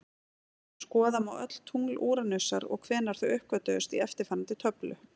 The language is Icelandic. Skoða má öll tungl Úranusar og hvenær þau uppgötvuðust í eftirfarandi töflu: